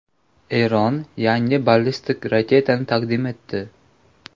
Eron yangi ballistik raketani taqdim etdi.